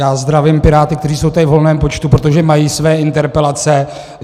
Já zdravím piráty, kteří jsou tady v hojném počtu, protože mají své interpelace.